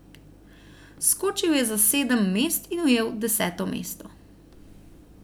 Skočil je za sedem mest in ujel deseto mesto.